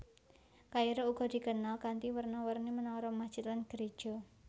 Kairo uga dikenal kanthi werna werna menara masjid lan geréja